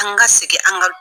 An ka segin an ka